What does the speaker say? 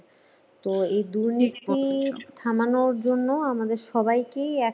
তো এই দুর্নীতির থামানোর জন্য আমাদের সবাইকেই একসাথে জোরদার হতে হবে।